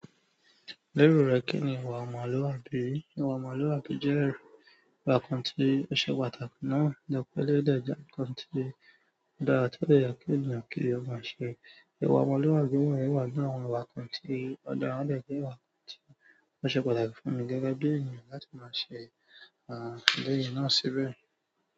Lérò rẹ kíni ìwà ọmọlúwàbí? Ìwà ọmọlúwàbí jẹ́ ìwà kan tí ó ṣe pàtàkì náà ni ọ́pọ̀ eleyii de je nkan tí o dára ti o de ye kí ènìyàn kí ó máa ṣe. Ìwà ọmọlúwàbí wọ̀nyí wà nínú àwọn ìwà kan tí o dára o de je ìwà kan tí ó ṣe pàtàkì fún mi gẹ́gẹ́ bí ènìyàn láti máa ṣe ẹlẹyi náà síbẹ̀.